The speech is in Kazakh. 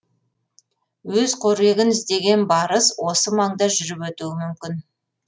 өз қорегін іздеген барыс осы маңда жүріп өтуі мүмкін